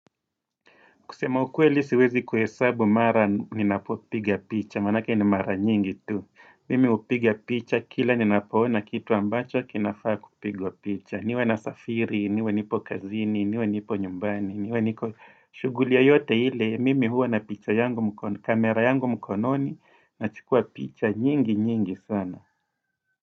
Kusema ukweli siwezi kuhesabu mara ninapopiga picha, manake ni mara nyingi tu. Mimi hupiga picha, kila ninapo ona kitu ambacho, kinafaa kupigwa picha. Niwe nasafiri, niwe nipo kazini, niwe nipo nyumbani, niwe niko. Shuguli yeyote ile, mimi huwa na picha yangu, kamera yangu mkononi, nachukua picha, nyingi nyingi sana.